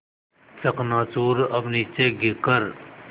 चकनाचूर अब नीचे गिर कर